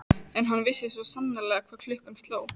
En hann vissi svo sannarlega hvað klukkan sló.